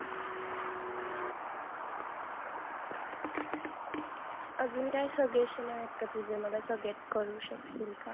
अजून काय suggestion आहेत का तुझे मला सगळेच करू शकशील का